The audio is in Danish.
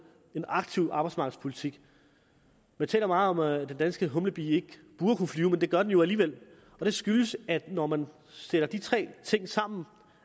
en aktiv arbejdsmarkedspolitik man taler meget om at den danske humlebi ikke burde kunne flyve men det gør den jo alligevel og det skyldes at det når man sætter de tre ting sammen